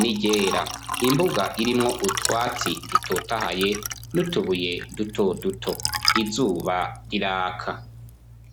n'iryera imbuga irimwo utwatsi dutotahaye n'utubuye duto duto izuba riraka.